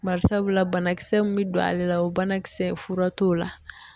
Bari sabula banakisɛ mun be don ale la o banakisɛ fura t'o la.